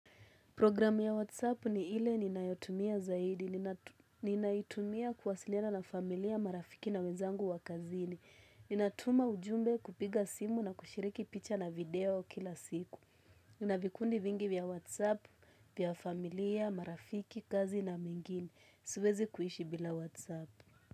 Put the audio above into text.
Program ya WhatsApp ni ile ninayotumia zaidi. Ninaitumia kuwasiliana na familia, marafiki na wenzangu wa kazini. Ninatuma ujumbe kupiga simu na kushiriki picha na video kila siku. Ninavikundi vingi vya WhatsApp, vya familia, marafiki, kazi na mingine siwezi kuishi bila whatsapp.